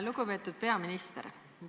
Lugupeetud peaminister!